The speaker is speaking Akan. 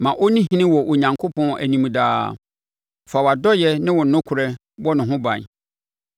Ma ɔnni ɔhene wɔ Onyankopɔn anim daa. Fa wʼadɔeɛ ne wo nokorɛ bɔ ne ho ban.